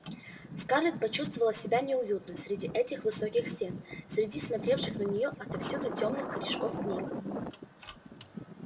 скарлетт почувствовала себя неуютно среди этих высоких стен среди смотревших на неё отовсюду тёмных корешков книг